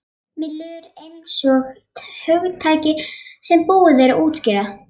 Mér líður einsog hugtaki sem búið er að útjaska.